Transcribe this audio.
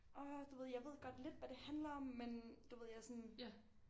Orh du ved jeg ved godt lidt hvad det handler om men du ved jeg sådan